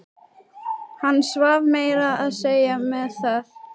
Hann svaf meira að segja með það.